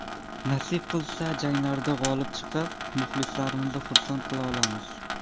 Nasib qilsa, janglarda g‘olib chiqib, muxlislarimizni xursand qila olamiz.